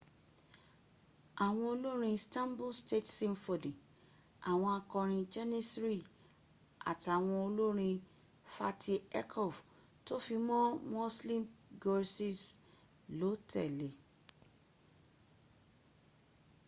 àwọn olórin stanbul state symphony àwọn akọrin janissary àtàwọn olórin fatih erkoç tó fi mọ́ müslüm gürses ló tẹ̀le